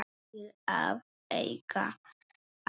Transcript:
Til að auka andann.